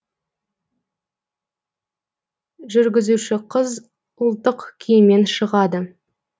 жүргізуші қыз ұлттық киіммен шығады